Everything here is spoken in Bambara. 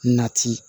Nati